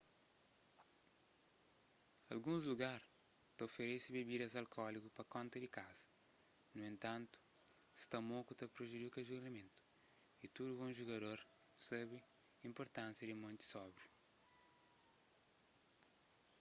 alguns lugar ta oferese bebidas alkóliku pa konta di kaza nu entantu sta moku ta prejudika julgamentu y tudu bon jugador sabe inpurtánsia di mante sóbriu